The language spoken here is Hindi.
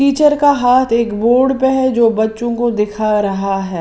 टीचर का हाथ एक बोर्ड पे है जो बच्चों को दिखा रहा है।